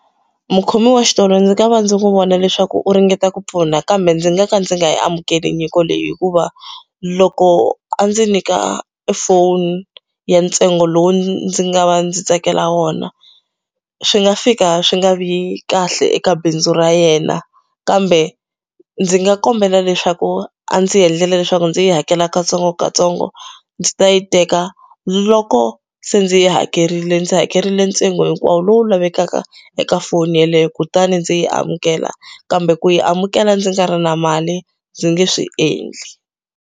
Mukhomi wa xitolo ndzi nga va ndzi n'wi vona leswaku u ringeta ku pfuna kambe ndzi nga ka ndzi nga yi amukela nyiko leyi hikuva loko a ndzi nyika phone ya ntsengo lowu ndzi nga va ndzi tsakela wona swi nga fika swi nga vi kahle eka bindzu ra yena kambe ndzi nga kombela leswaku a ndzi endlela leswaku ndzi yi hakela katsongokatsongo ndzi ta yi teka loko se ndzi yi hakerile ndzi hakerile ntsengo hinkwawo lowu lavekaka eka foni yeleyo kutani ndzi yi amukela kambe ku yi amukela ndzi nga ri na mali ndzi nge swi endli.